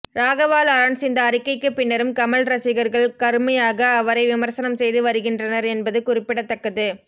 ராகவா லாரன்ஸ் இந்த அறிக்கைக்கு பின்னரும் கமல் ரசிகர்கள் கருமையாக அவரை விமர்சனம் செய்து வருகின்றனர் என்பது குறிப்பிடத்தக்கது